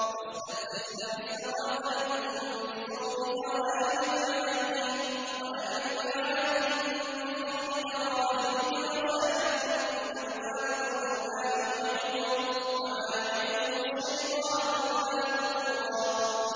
وَاسْتَفْزِزْ مَنِ اسْتَطَعْتَ مِنْهُم بِصَوْتِكَ وَأَجْلِبْ عَلَيْهِم بِخَيْلِكَ وَرَجِلِكَ وَشَارِكْهُمْ فِي الْأَمْوَالِ وَالْأَوْلَادِ وَعِدْهُمْ ۚ وَمَا يَعِدُهُمُ الشَّيْطَانُ إِلَّا غُرُورًا